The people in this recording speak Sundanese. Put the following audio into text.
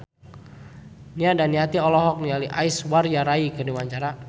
Nia Daniati olohok ningali Aishwarya Rai keur diwawancara